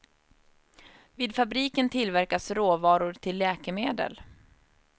Vid fabriken tillverkas råvaror till läkemedel.